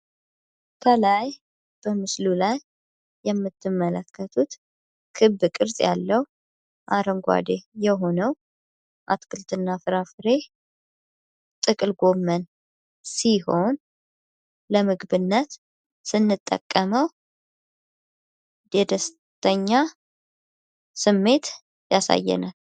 ተላይ በምስሉ ላይ የምትመለከቱት ክብ ቅርጽ ያለው አረንጓዴ የሆነው አትክልትና ፍራፍሬ ጥቅል ጎመን ሲሆን ለምግብነት ስንጠቀመው ደስተኛ ስሜት ያሳየናል።